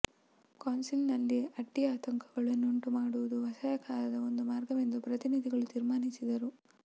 ಕೌನ್ಸಿಲಿನಲ್ಲಿ ಅಡ್ಡಿ ಆತಂಕಗಳ ನ್ನುಂಟುಮಾಡುವುದೂ ಅಸಹಕಾರದ ಒಂದು ಮಾರ್ಗವೆಂದು ಪ್ರತಿನಿಧಿಗಳು ತೀರ್ಮಾನಿಸಿದರು